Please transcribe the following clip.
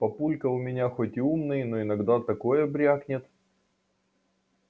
папулька у меня хоть и умный но иногда такое брякнет